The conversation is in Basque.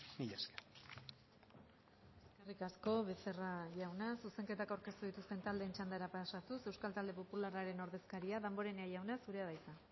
mila esker eskerrik asko becerra jauna zuzenketak aurkeztu dituzten taldeen txandara pasatuz euskal talde popularraren ordezkaria damborenea jauna zurea da hitza